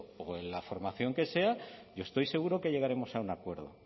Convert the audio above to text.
o en la formación que sea yo estoy seguro que llegaremos a un acuerdo